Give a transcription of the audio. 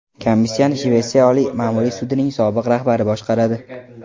Komissiyani Shvetsiya oliy ma’muriy sudining sobiq rahbari boshqaradi.